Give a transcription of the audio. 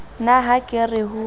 na ha ke re ho